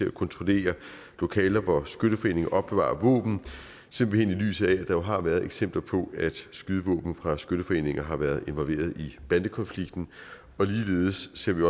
at kontrollere lokaler hvor skytteforeninger opbevarer våben simpelt hen i lyset af at der jo har været eksempler på at skydevåben fra skytteforeninger har været involveret i bandekonflikten ligeledes ser vi